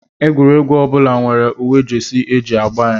Egwuregwu ọ bụla nwere uwe Jesi e ji agba ya